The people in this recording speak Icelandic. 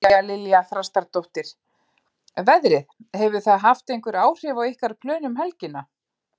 María Lilja Þrastardóttir: Veðrið, hefur það haft einhver áhrif á ykkar plön um helgina?